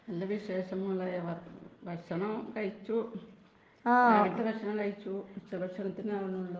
നല്ല വിശേഷം മോളെ .ഭക്ഷണം കഴിച്ചു.രാവിലത്തെ ഭക്ഷണം കഴിച്ചു .ഉച്ച ഭക്ഷണത്തിനു ആവുന്നതേ ഉള്ളു.